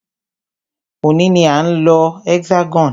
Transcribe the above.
Òní ní a ń lọ Hexagon.